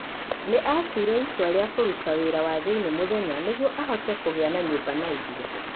Nĩ aatuire itua rĩa kũruta wĩra wa thĩinĩ mũthenya nĩguo ahote kũgĩa na nyũmba na irio.